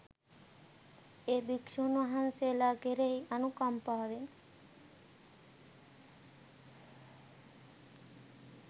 ඒ භික්ෂූන් වහන්සේලා කෙරෙහි අනුකම්පාවෙන්